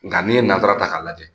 Nga n'i ye nazarata k'a la